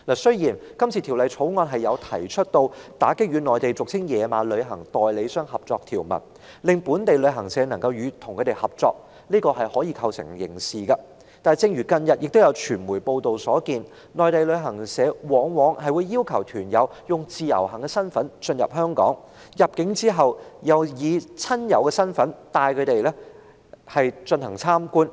雖然《條例草案》提出打擊與內地俗稱"野馬"的旅行代理商合作的條文，將本地旅行社與它們的合作刑事化，但正如近日傳媒所報道，內地旅行社往往要求團友以自由行身份進入香港，入境後又以親友身份帶他們參觀。